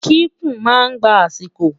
kíkún má ngbà asiko